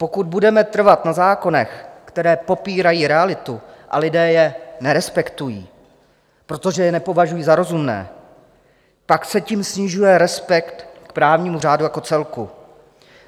Pokud budeme trvat na zákonech, které popírají realitu, a lidé je nerespektují, protože je nepovažují za rozumné, tak se tím snižuje respekt k právnímu řádu jako celku.